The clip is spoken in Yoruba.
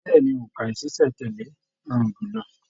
Bẹ̀ẹ́ni, óńka ní ṣiṣẹ̀ n tẹ̀lé ló rọrùn jùlọ.